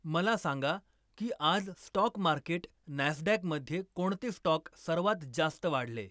मला सांगा की आज स्टॉक मार्केट नॅस्डॅकमध्ये कोणते स्टॉक सर्वात जास्त वाढले